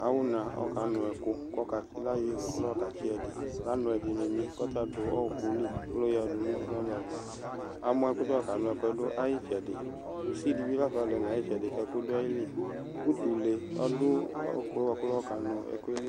Awuna ɔkanu ɛku Ku layɔ ihɛ ku layɔ katsi ɛdini Lanu ɛdini ni kɔta du ɔwɔkuli ku layadu nu ovlo ava Amɔ ku layɔ kanu ɛkuɛ du ayitsɛdi Kusi dibi lafa du ayitsɛdi kɛku du ayili Utule ɔdu ɛkuɛ buaku layɔ kanu ɛkuɛli